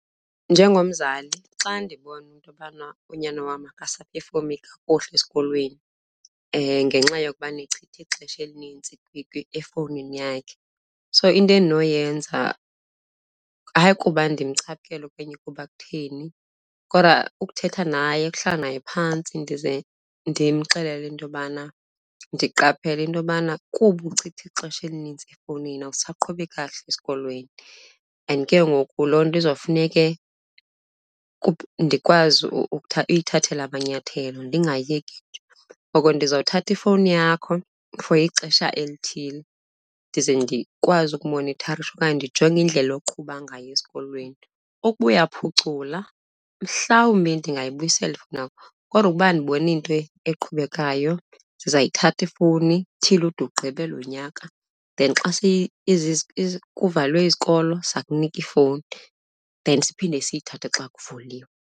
Njengomzali, xa ndibona into yobana unyana wam akasaphefomi kakuhle esikolweni ngenxa yokuba echitha ixesha elinintsi efowunini yakhe, so into endinoyenza, hayi kuba ndimcaphukela okanye kuba kutheni, kodwa ukuthetha naye. Ukuhlala naye phantsi ndize ndimxelele into yobana ndiqaphele into yobana kuba uchitha ixesha elinintsi efowunini awusaqhubi kakuhle esikolweni and ke ngoku loo nto izawufuneke ndikwazi uyithathela amanyathelo ndingayiyeki. Ngoko ndizothatha ifowuni yakho for ixesha elithile ndize ndikwazi ukumonitharisha okanye ndijonge indlela oqhuba ngayo esikolweni. Ukuba uyaphucula, mhlawumbi ndingayibuyisela ifowuni yakho kodwa ukuba andiboni nto eqhubekayo sizayithatha ifowuni till ude ugqibe lo nyaka. Then xa kuvalwe izikolo siza kunika ifowuni then siphinde siyithathe xa kuvuliwe.